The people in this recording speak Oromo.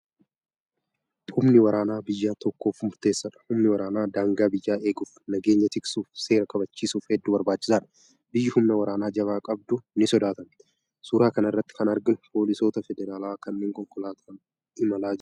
Humni waraanaa biyya tokkoof murteessaadha. Humni waraanaa daangaa biyyaa eeguuf, nageenya tiksuuf, seera kabachiisuuf hedduu barbaachisaadha. Biyyi humna waraanaa jabaa qabdu ni sodaatamti. Suuraa kanarratti kan arginu poolisoota federaalaa kanneen konkolaataan imalaa jiranidha.